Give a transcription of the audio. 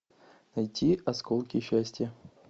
найти осколки счастья